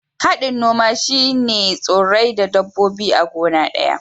Hadin noma shine tsurrai da dabbobi a gona daya.